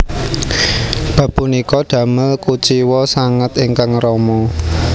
Bab punika damel kuciwa sanget ingkang rama